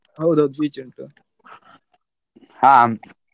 ಹೌದೌದು beach ಉಂಟು.